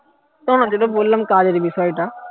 না না সে তো বললাম দিকে শোয় না